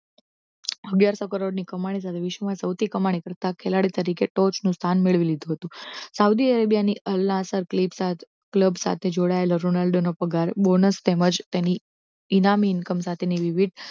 અગિયારશો કરોડની કમાણી સાથે વિશ્વમાં સૌથી કમાણી કરતા ખેલાડી તરીકે ટોચની સ્થાન મેળવી લીધું હતું સાઉદી અરેબિયાની અલ્લાહ સાથે ક્લબ સાથે જોડાયેલો રોનાલ્ડોનો પગાર bonus તેમજ તેની ઇનામી income સાથે વિવિધ